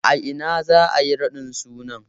A ina za'a yi raɗin sunan?